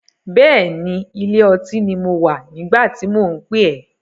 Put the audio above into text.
Bẹ́ẹ̀ni, ilé ọtí ni mo wà nígbà tí mò ń pè ẹ́.